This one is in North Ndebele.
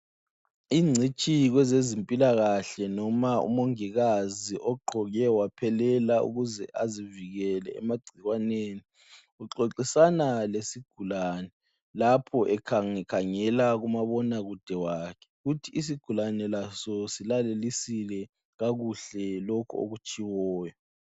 Ingcitshi kwezempilakahle noma umongikazi ogqoke waphelela ukuze azivikele emagcikwaneni oxoxisana lesigulani lapho ekhange khangela kumabonakude. Kuthi isigulani laso silalelisile lokho okutshiwoyo.